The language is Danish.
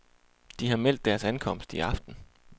De har meldt deres ankomst i aften.